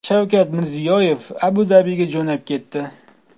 Shavkat Mirziyoyev Abu-Dabiga jo‘nab ketdi.